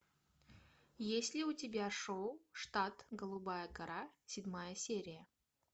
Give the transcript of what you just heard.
есть ли у тебя шоу штат голубая гора седьмая серия